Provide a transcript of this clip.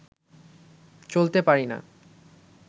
চলতে পারিনা